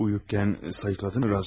Yatarkən sayıqladınmı Razm?